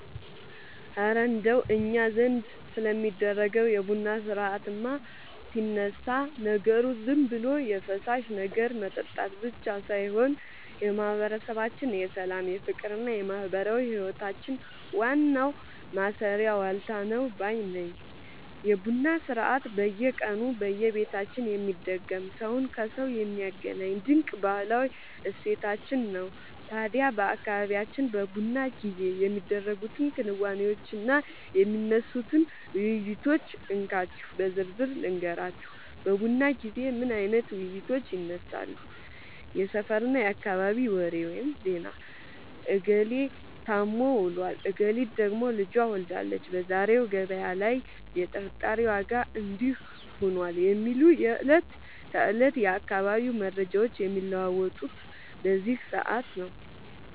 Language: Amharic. እረ እንደው እኛ ዘንድ ስለሚደረገው የቡና ሥርዓትማ ሲነሳ፣ ነገሩ ዝም ብሎ የፈሳሽ ነገር መጠጣት ብቻ ሳይሆን የማህበረሰባችን የሰላም፣ የፍቅርና የማህበራዊ ህይወታችን ዋናው ማሰሪያ ዋልታ ነው ባይ ነኝ! የቡና ሥርዓት በየቀኑ በየቤታችን የሚደገም፣ ሰውን ከሰው የሚያገናኝ ድንቅ ባህላዊ እሴታችን ነው። ታዲያ በአካባቢያችን በቡና ጊዜ የሚደረጉትን ክንዋኔዎችና የሚነሱትን ውይይቶች እንካችሁ በዝርዝር ልንገራችሁ፦ በቡና ጊዜ ምን አይነት ውይይቶች ይነሳሉ? የሰፈርና የአካባቢ ወሬ (ዜና)፦ "እገሌ ታሞ ውሏል፣ እገሊት ደግሞ ልጅ ወልዳለች፣ በዛሬው ገበያ ላይ የጥራጥሬ ዋጋ እንዲህ ሆኗል" የሚሉ የዕለት ተዕለት የአካባቢው መረጃዎች የሚለዋወጡት በዚህ ሰዓት ነው።